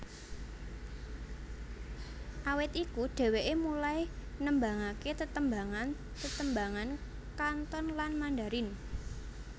Awit iku dheweké mulai nembangaké tetembangan tetembangan Kanton lan Mandarin